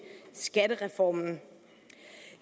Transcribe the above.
skattereformen